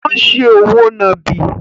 Ó ń se òwò nàbì.